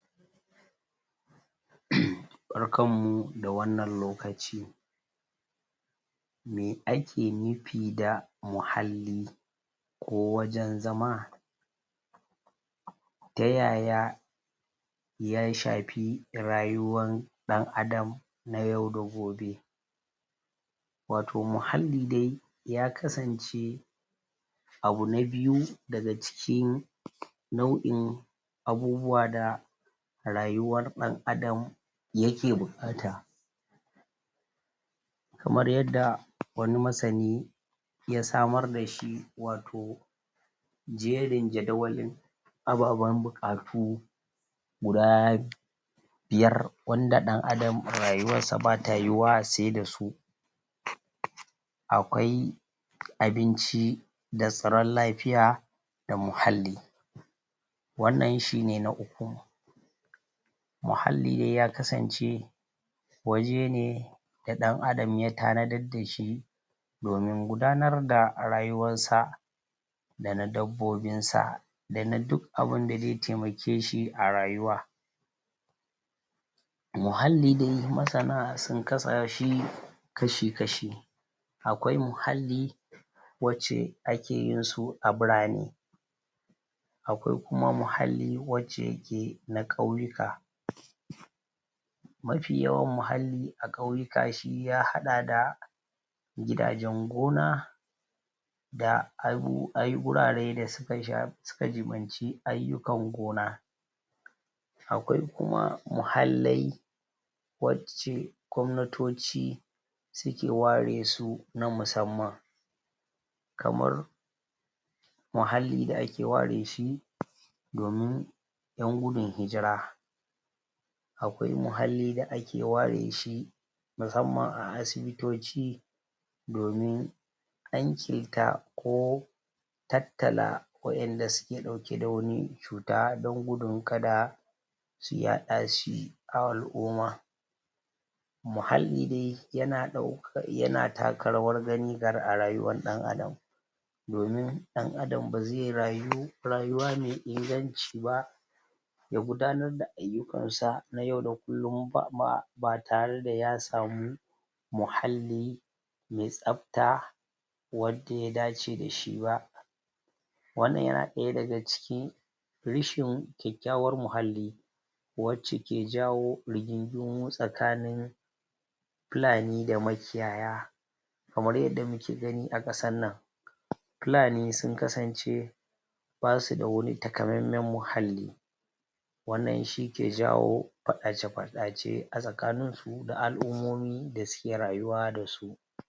Barkanmu da wannan lokaci Me ake nufi da muhalli ko wajen zama, ta yaya ta yaya ya shafi rayuwan dan adam na yaw da gobe wato muhalli dai ya kasance abu na biyu daga cikin nau'in abubuwa da rayuwar dan adam yake bukata Kamar yadda wani masani ya samar da shi wato jerin jadawalin ababan buƙatu guda biyar wanda dan adam rayuwarsa bata yiyuwa sai dasu akwai abinci da tsaron lafiya da muhalli wannan shi ne na uku muhalli dai ya kasance waje ne na adam ya tanadar dashi domin gudanar da rayuwarsa da na dabbobinsa da na duk abunda zai taimake shi a rayuwarsa a rayuwa, muhalli dai masana sun kasa shi ƙashi-ƙashi akwai muhalli wance akeyinsa a burane akwai kuma muhalli wanda suke na kauyika mafi yawan muhalli na kauyika ya hada da gidajen gona da wurare da ya shafi ayukan gona akwai kuma muhallai wace gwamnatoci suke ware su na musanman kamar muhalli da ake ware shi domin yan gudun hijira domin yan gudun hijira akwai muhalli da ake wareshi musanman a asibitocci domin kanƙeta tatala wa'inda suke dauke da wani cuta domin gudun kada su yaɗa shi a al'umma muhalli dai yana taka rawar gani a rayuwar dan adam domin dan adam bazai rayu rayuwa mai inganci ba ya gudanar da ayukansa na yau da kullum ba tareda ya samu muhalli me tsafta wanda ya dace dashi ba wannan yana daya daga cikin rashin kyakyawan muhalli wace ke jawo riginginmu tsakanin fulani da makiyaya kamar yadda muke gani a kasarnan fulani sun kasance basuda wani takamaiman muhalli wannan shi ke jawo fadace-fadace tsakanin su da alummomin da suke rayuwa dasu.